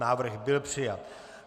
Návrh byl přijat.